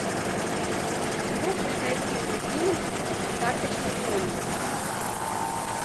а сможешь найти мне фильм карточный домик